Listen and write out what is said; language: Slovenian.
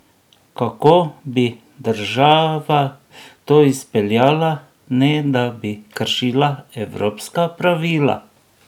Kako bi država to izpeljala, ne da bi kršila evropska pravila?